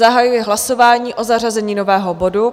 Zahajuji hlasování o zařazení nového bodu.